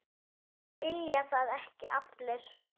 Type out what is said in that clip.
Vilja það ekki allir?